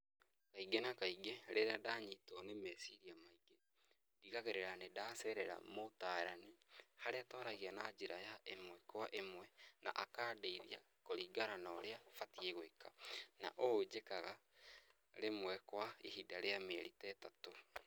Kaingĩ na kaingĩ, rĩrĩa ndanyitwo nĩ meciria maingĩ , ndigagĩrĩra nĩ ndacerera mũtaarani, harĩa twaragia na njĩra ya ĩmwe kwa ĩmwe, na aka ndeithia kũringana na ũrĩa batiĩ gwĩka, na ũũ njĩkaga rĩmwe kwa ihinda rĩa mĩeri ta ĩtatũ.